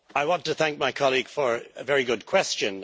I want to thank my colleague for a very good question.